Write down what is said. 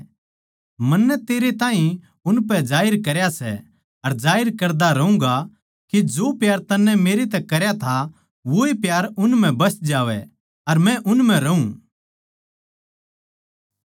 मन्नै तेरे ताहीं उनपै जाहिर करया सै अर जाहिर करता रहूँगा के जो प्यार तन्नै मेरतै करया था वोए प्यार उन म्ह बस जावै अर मै उन म्ह रहूँ